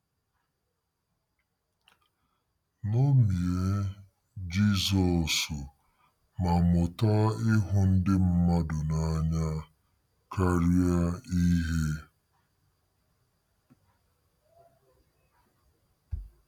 Ṅomie Jizọs ma mụta ịhụ ndị mmadụ n'anya karịa ihe.